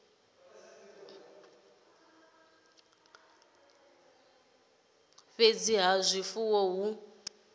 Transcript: u amara ha zwifuwo hu